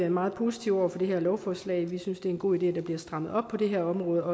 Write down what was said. meget positive over for det her lovforslag vi synes det er en god idé at der bliver strammet op på det her område